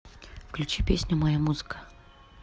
включи песню моя музыка